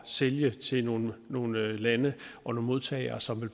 sælge til nogle nogle lande og modtagere som vil